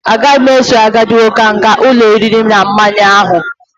Agaghị m eso agadi nwoke ahụ gaa ụlọ oriri na ọṅụṅụ ahụ.